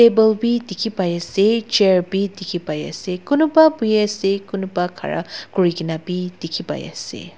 table bi dikhi pai ase chair bi dikhi pai ase kunuba buhi ase kunuba khara kuri kena bi dikhi pai ase.